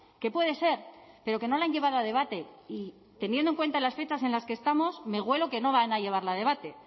que puede ser pero que no la han llevado a debate y teniendo en cuenta las fechas en las que estamos me huelo que no van a llevarla a debate